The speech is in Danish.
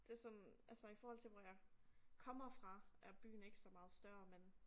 Det sådan altså i forhold til hvor jeg kommer fra er byen ikke så meget større men